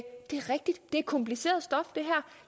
det her er kompliceret stof